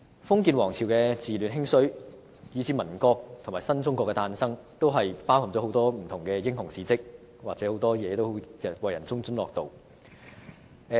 封建王朝的治亂興衰，以至民國和新中國的誕生，都包含很多不同的英雄事蹟，為人津津樂道。